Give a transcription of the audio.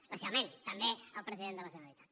especialment també el president de la generalitat